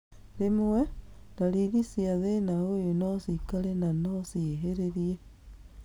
Rwĩmwe, ndariri cia thĩna ũyũ nocikare na no ciĩhĩrĩrie